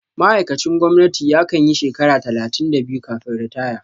Ma'aikacin gwamnati ya kanyi shekara talatin da biyu kafin ritaya